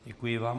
Děkuji vám.